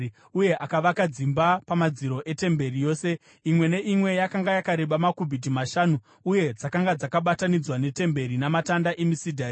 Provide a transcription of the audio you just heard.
Uye akavaka dzimba pamadziro etemberi yose. Imwe neimwe yakanga yakareba makubhiti mashanu, uye dzakanga dzakabatanidzwa netemberi namatanda emisidhari.